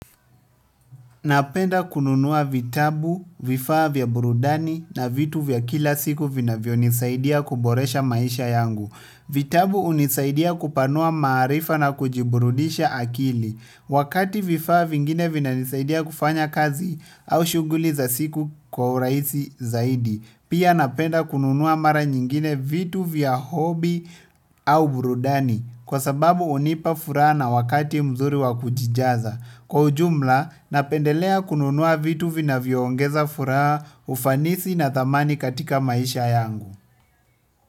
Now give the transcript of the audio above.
Napenda kununua vitabu vifaa vya burudani na vitu vya kila siku vinavyo nisaidia kuboresha maisha yangu. Vitabu unisaidia kupanua maarifa na kujiburudisha akili. Wakati vifaa vingine vina nisaidia kufanya kazi au shughuli za siku kwa urahisi zaidi. Pia napenda kununua mara nyingine vitu vya hobi au burudani kwa sababu unipa furana na wakati mzuri wakujijaza. Kwa ujumla, napendelea kununua vitu vina vyoongeza furaha ufanisi na thamani katika maisha yangu.